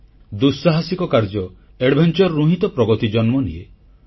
ପ୍ରଗତି ଦୁଃସାହସିକ କାର୍ଯ୍ୟ Adventureରୁ ହିଁ ତ ଜନ୍ମନିଏ